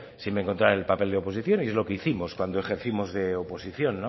si me encontrara el papel de oposición y es lo que hicimos cuando ejercimos de oposición